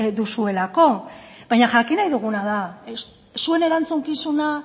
duzuelako baina jakin nahi duguna da zuen erantzukizuna